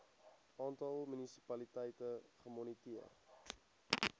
aantal munisipaliteite gemoniteer